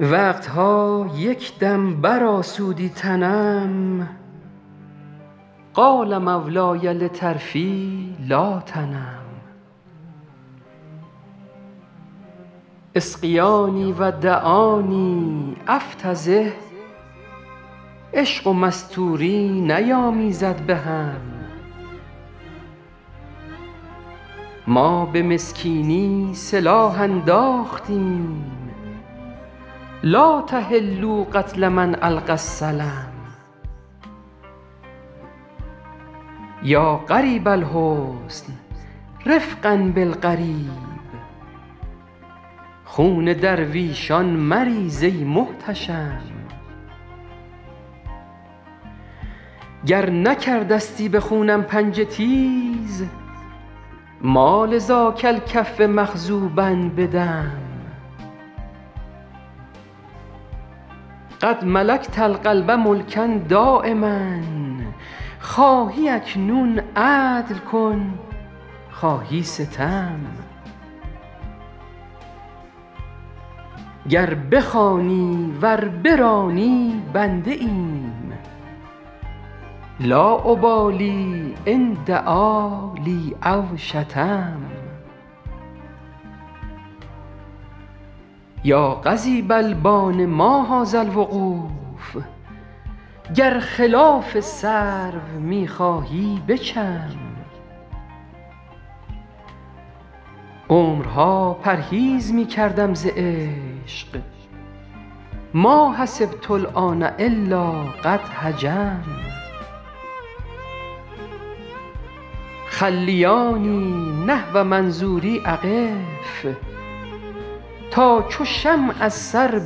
وقت ها یک دم برآسودی تنم قال مولای لطرفی لا تنم اسقیاني و دعاني أفتضح عشق و مستوری نیامیزد به هم ما به مسکینی سلاح انداختیم لا تحلوا قتل من ألقی السلم یا غریب الحسن رفقا بالغریب خون درویشان مریز ای محتشم گر نکرده ستی به خونم پنجه تیز ما لذاک الکف مخضوبا بدم قد ملکت القلب ملکا دایما خواهی اکنون عدل کن خواهی ستم گر بخوانی ور برانی بنده ایم لا أبالي إن دعا لی أو شتم یا قضیب البان ما هذا الوقوف گر خلاف سرو می خواهی بچم عمرها پرهیز می کردم ز عشق ما حسبت الآن إلا قد هجم خلیاني نحو منظوري أقف تا چو شمع از سر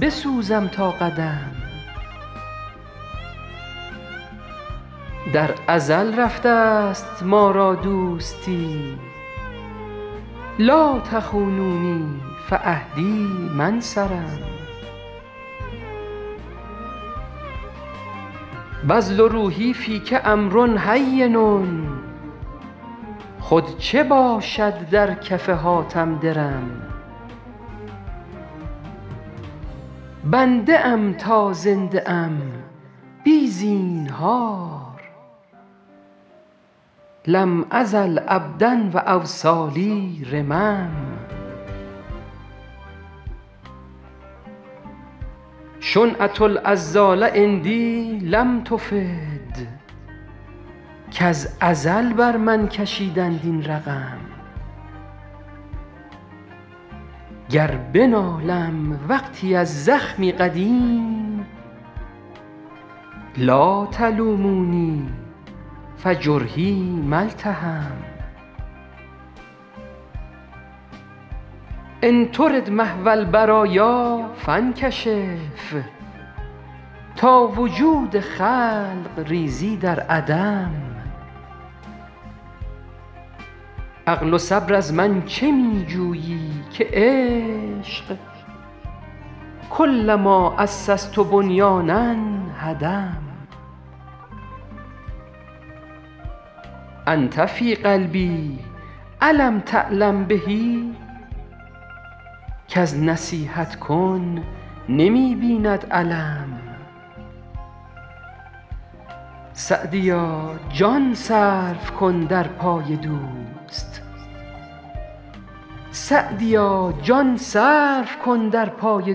بسوزم تا قدم در ازل رفته ست ما را دوستی لا تخونونی فعهدی ما انصرم بذل روحي فیک أمر هین خود چه باشد در کف حاتم درم بنده ام تا زنده ام بی زینهار لم أزل عبدا و أوصالي رمم شنعة العذال عندي لم تفد کز ازل بر من کشیدند این رقم گر بنالم وقتی از زخمی قدیم لا تلوموني فجرحي ما التحم إن ترد محو البرایا فانکشف تا وجود خلق ریزی در عدم عقل و صبر از من چه می جویی که عشق کلما أسست بنیانا هدم أنت في قلبي أ لم تعلم به کز نصیحت کن نمی بیند الم سعدیا جان صرف کن در پای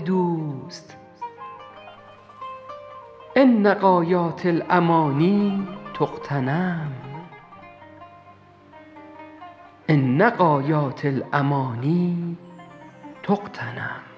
دوست إن غایات الأماني تغتنم